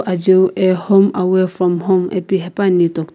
ajiu a home away from home ipi hepuani do --